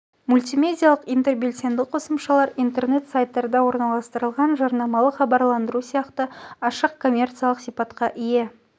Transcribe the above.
мультимедиалық интербелсенді қосымшалар интернет-сайттарда орналастырылған жарнамалық хабарландырулар сияқты ашық коммерциялық сипатқа ие